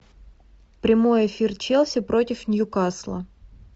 прямой эфир челси против ньюкасла